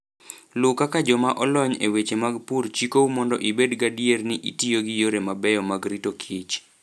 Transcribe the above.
Luw kaka joma olony e weche mag pur chikou mondo ibed gadier ni itiyo gi yore mabeyo mag rito kichr.